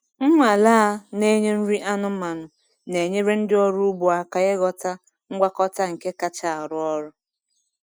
Nnwale a na-enye nri anụmanụ na-enyere ndị ọrụ ugbo aka ịghọta ngwakọta nke kacha arụ ọrụ.